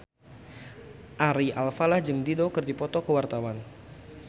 Ari Alfalah jeung Dido keur dipoto ku wartawan